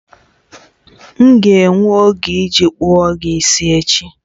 M ga-enwe oge iji kpụọ gị isi echi